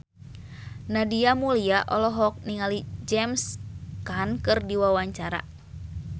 Nadia Mulya olohok ningali James Caan keur diwawancara